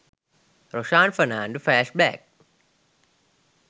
roshan fernando flash back